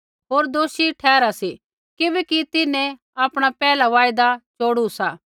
होर दोषी ठहरा सी किबैकि तिन्हैं आपणा पैहला वायदा चोड़ू सा